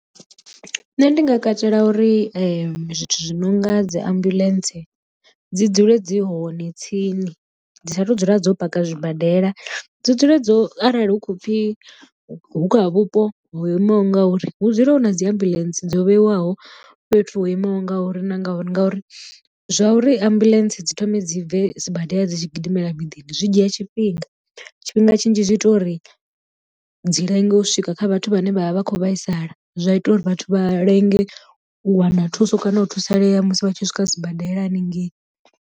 Nṋe ndi nga katela uri zwithu zwi nonga dzi ambuḽentse dzi dzule dzi hone tsini dzi sa tu dzula dzo paka zwibadela dzi dzule dzo arali hu khou pfhi hu kha vhupo ho imaho nga uri hu dzule hu na dzi ambuḽentse dzo vhewaho fhethu ho imaho ngauri na ngauri, ngauri zwa uri ambuḽentse dzi thome dzi bve sibadela dzi tshi gidimela miḓini zwi dzhia tshifhinga tshifhinga tshinzhi zwi ita uri dzi lenge u swika kha vhathu vhane vha vha vha kho vhaisala zwa ita uri vhathu vha lenge u wana thuso kana u thusalea musi vha tshi swika sibadela haningei.